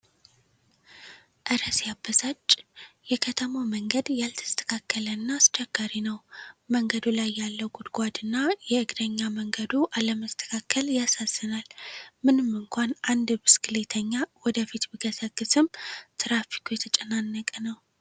እረ ሲያበሳጭ! የከተማው መንገድ ያልተስተካከለ እና አስቸጋሪ ነው። መንገዱ ላይ ያለው ጉድጓድ እና የእግረኛ መንገዱ አለመስተካከል ያሳዝናል። ምንም እንኳን አንድ ብስክሌተኛ ወደፊት ቢገሰግስም፣ ትራፊኩ የተጨናነቀ ነው።